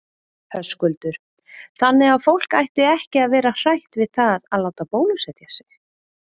Höskuldur: Þannig að fólk ætti ekki að vera hrætt við það að láta bólusetja sig?